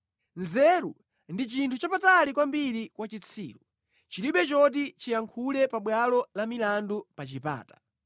Nzeru ndi chinthu chapatali kwambiri kwa chitsiru; chilibe choti chiyankhule pabwalo la milandu pa chipata.